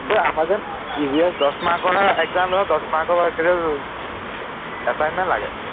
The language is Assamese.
অ আমাৰ যেন EVS দহ mark ৰহে exam লয় দহ mark ৰ assignment লাগে